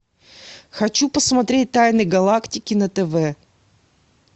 хочу посмотреть тайны галактики на тв